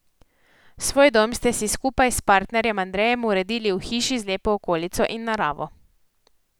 Svoj dom ste si skupaj s partnerjem Andrejem uredili v hiši z lepo okolico in naravo.